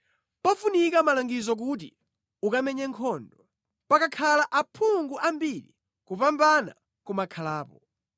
Pafunika malangizo kuti ukamenye nkhondo. Pakakhala aphungu ambiri kupambana kumakhalapo.